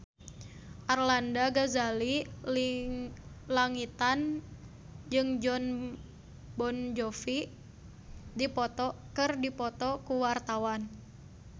Arlanda Ghazali Langitan jeung Jon Bon Jovi keur dipoto ku wartawan